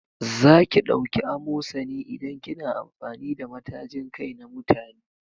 Zaki ɗauki amosani idan kina amfani da matajin kai na mutane